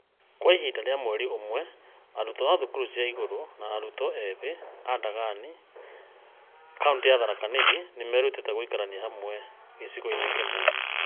Kwa ihinda rĩa mweri ũmwe, arutwo a thukuru cia igũrũ na arutwo ethĩ a Ndagani, ka ũntĩ ya Tharaka Nithi , nĩ merutĩte gũikarania hamwe gĩcigo-inĩ kĩmwe.